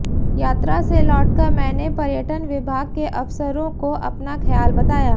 यात्रा से लौटकर मैंने पर्यटन विभाग के अफसरों को अपना ख़याल बताया